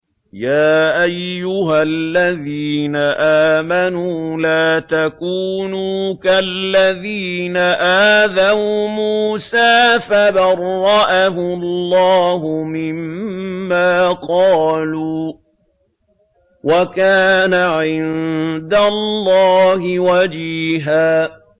يَا أَيُّهَا الَّذِينَ آمَنُوا لَا تَكُونُوا كَالَّذِينَ آذَوْا مُوسَىٰ فَبَرَّأَهُ اللَّهُ مِمَّا قَالُوا ۚ وَكَانَ عِندَ اللَّهِ وَجِيهًا